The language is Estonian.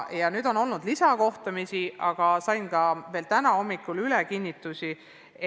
On olnud lisakohtumisi ja sain veel täna hommikul selle kohta kinnitusi.